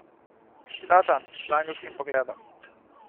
Satan z angelskim pogledom.